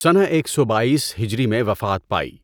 سنہ ایک سو بائیس ہجری میں وفات پائی۔